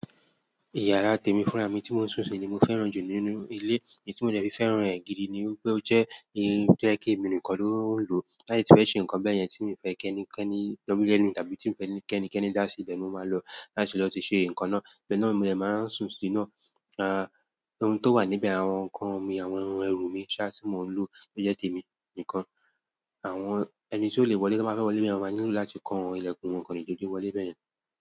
Ìyàrá tèmi fúnra mi tí mò ń sún sí ni mo fẹ́ràn jù nínú ilé. Idí tí mo dẹ̀fí fẹ́ràn rẹ̀ gidi ni pé ó jẹ́ ibi tó jẹ́ kí èmi nìkan ló ń lò. Tiba de tife ṣe nǹkan bẹ́ẹ̀ yẹn tí mo fẹ́ kẹ́ni kẹ́ni wọmi lẹnu tàbí tí mo fẹ́ kí ẹni kẹ́ni dá sí ibẹ̀ ni ó máa lọ láti lọ ti ṣe nǹkan náà. Ibe náà mo de máa ń sùn sí ná. À, ohun tó wà níbẹ̀, àwọn nǹkan mi, àwọn irun ẹrù mi chair tí mò ń lò ló jẹ́ tèmi nìkan. Àwọn ẹni tí ó lè wọlé bá fẹ́ wọlé bẹ̀rẹ̀, ó máa nílò láti kó àwọn ìlẹ̀kùn wọn kan níjójú wọlé bẹ̀rẹ̀.